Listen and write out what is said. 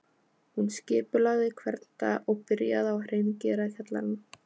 Hún skipulagði hvern dag og byrjaði á að hreingera kjallarann